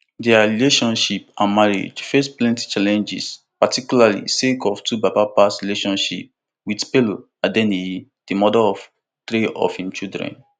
dia relationship and marriage face plenty challenges particularly sake of twobaba past relationship wit pero adeniyi di mother of three of im children